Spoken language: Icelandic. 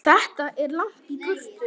Þetta er langt í burtu.